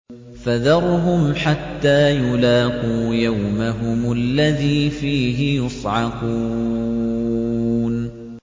فَذَرْهُمْ حَتَّىٰ يُلَاقُوا يَوْمَهُمُ الَّذِي فِيهِ يُصْعَقُونَ